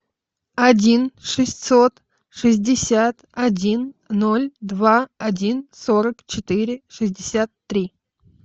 один шестьсот шестьдесят один ноль два один сорок четыре шестьдесят три